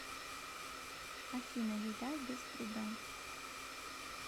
афина еда без труда